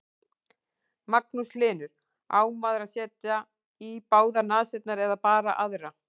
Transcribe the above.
Magnús Hlynur: Á maður að setja í báðar nasirnar eða bara aðra?